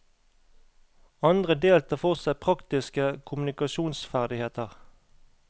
Andre del tar for seg praktiske kommunikasjonsferdigheter.